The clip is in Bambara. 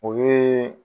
O ye